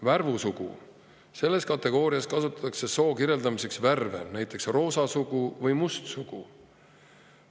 Värvussugu – selles kategoorias kasutatakse soo kirjeldamiseks värve, näiteks roosa sugu või must sugu.